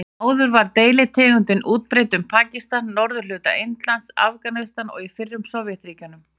Áður var deilitegundin útbreidd um Pakistan, norðurhluta Indlands, Afganistan og í fyrrum Sovétríkjunum.